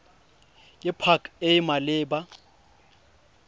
ke pac e e maleba